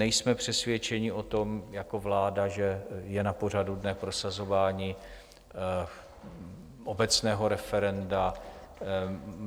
Nejsme přesvědčeni o tom jako vláda, že je na pořadu dne prosazování obecného referenda.